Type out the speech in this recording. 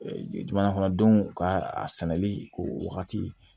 Jamana kɔnɔdenw ka a sɛnɛli o wagati